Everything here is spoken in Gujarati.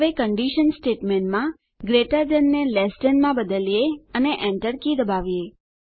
હવે કંડીશન સ્ટેટમેંટમાં ગ્રેટર થાન ને લેસ થાન માં બદલીએ અને Enter કી દબાવીએ